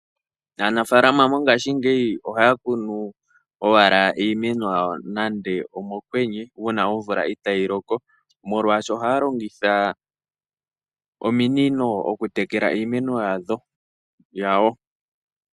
Aanafalama mongashingeyi ohaya kunu owala iimeno yawo nande omokwenye, uuna omvula itaayi loko, molwashoka ohaya longitha ominino okutekela iimeno yawo.